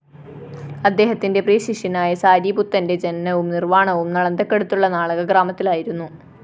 അദ്ദേഹത്തിന്റെ പ്രിയശിഷ്യനായ സാരിപുത്തന്റെ ജനനവും നിര്‍വാണവും നളന്ദക്കടുത്തുള്ള നാളക ഗ്രാമത്തിലായിരുന്നു